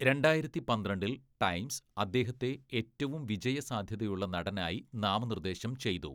രണ്ടായിരത്തി പന്ത്രണ്ടില്‍, ടൈംസ് അദ്ദേഹത്തെ ഏറ്റവും വിജയസാധ്യതയുള്ള നടനായി നാമനിർദ്ദേശം ചെയ്തു.